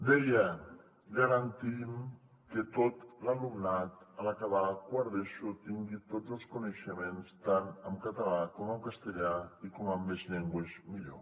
deia garantim que tot l’alumnat en acabar quart d’eso tingui tots els coneixements tant en català com en castellà i com més llengües millor